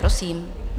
Prosím.